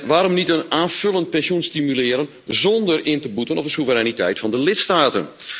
Waarom niet een aanvullend pensioen stimuleren zonder in te boeten op de soevereiniteit van de lidstaten?